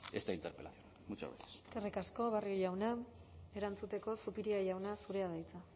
esta interpelación muchas gracias eskerrik asko barrio jauna erantzuteko zupiria jauna zurea da hitza